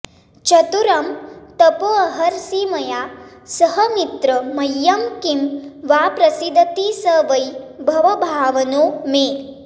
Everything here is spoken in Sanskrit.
चर्तुं तपोऽर्हसि मया सह मित्र मह्यं किं वा प्रसीदति स वै भवभावनो मे